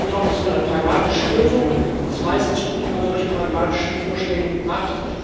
Ich glaube, das ist eine pragmatische Lösung es ist meistens gut, wenn man solche pragmatische Vorschläge macht.